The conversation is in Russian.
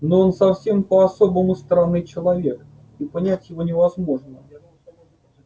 но он совсем по-особому странный человек и понять его невозможно